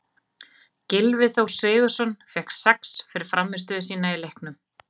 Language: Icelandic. Gylfi Þór Sigurðsson fékk sex fyrir frammistöðu sína í leiknum.